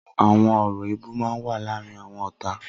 Awọn ọrọ éébù mà n wà làárin awọn ọ̀tá